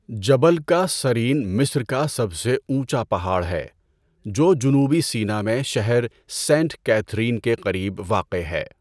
جبل کاثرین مصر کا سب سے اونچا پہاڑ ہے جو جنوبی سینا میں شہر سینٹ کیتھرین کے قریب واقع ہے۔